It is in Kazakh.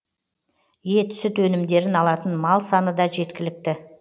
ет сүт өнімдерін алатын мал саны да жеткілікті